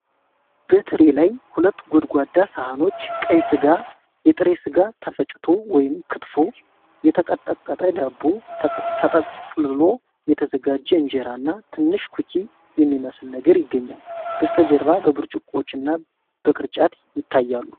በትሪ ላይ ሁለት ጎድጓዳ ሳህኖች ቀይ ሥጋ፣ የጥሬ ሥጋ ተፈጭቶ (ክትፎ)፣ የተቀጠቀጠ ዳቦ፣ ተጠቅልሎ የተዘጋጀ እንጀራ እና ትንሽ ኩኪ የሚመስል ነገር ይገኛል። በስተጀርባ በብርጭቆዎች እና በቅርጫት ይታያሉ።